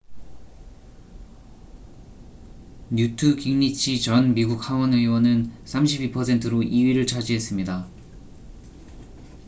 뉴트 깅리치 전 미국 하원 의원은 32%로 2위를 차지했습니다